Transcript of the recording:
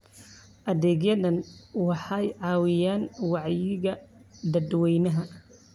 Adeegyadani waxay caawiyaan wacyiga dadweynaha.